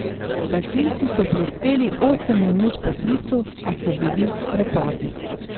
Gasilci so prispeli osem minut po klicu, a so bili prepozni.